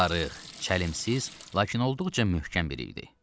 Arıq, çəlimsiz, lakin olduqca möhkəm idi.